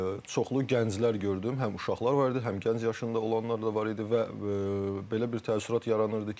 Çoxlu gənclər gördüm, həm uşaqlar var idi, həm gənc yaşında olanlar da var idi və belə bir təəssürat yaranırdı ki.